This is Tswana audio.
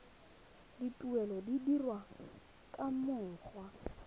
dituelo di dirwa ka mokgwa